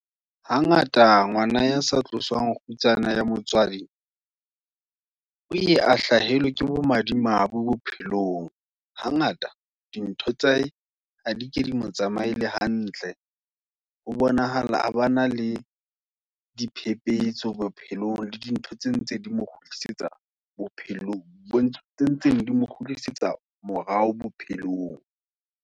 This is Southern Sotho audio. Ha ngata, ngwana ya sa tloswang, kgutsana ya motswadi, o ye a hlahelwe, ke bo madimabe bo bophelong. Ha ngata dintho tsa hae, ha di ke dimo tsamaele hantle, ho bonahala abana, le diphephetso bophelong, le dintho tse ntse di mo kgutlisetsa bophelong, tse ntseng dimokgutlisetsa morao bophelong.